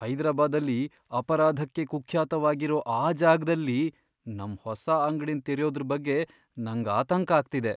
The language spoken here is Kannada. ಹೈದರಾಬಾದಲ್ಲಿ ಅಪರಾಧಕ್ಕೆ ಕುಖ್ಯಾತ್ವಾಗಿರೋ ಆ ಜಾಗ್ದಲ್ಲಿ ನಮ್ ಹೊಸ ಅಂಗ್ಡಿನ್ ತೆರ್ಯೋದ್ರ್ ಬಗ್ಗೆ ನಂಗ್ ಆತಂಕ ಆಗ್ತಿದೆ.